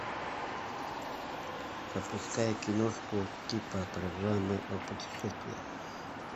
запускай киношку типа программы о путешествиях